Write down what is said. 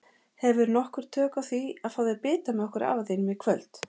Hefurðu nokkur tök á því að fá þér bita með okkur afa þínum í kvöld?